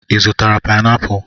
Ị zụtara painiapulu?